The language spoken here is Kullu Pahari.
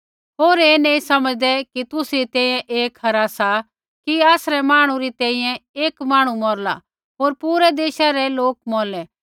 होर ऐ नैंई समझदै कि तुसरी तैंईंयैं ऐ खरा सा कि आसरै मांहणु री तैंईंयैं एक मांहणु मौरला होर पूरै देशा रै लोक मौरलै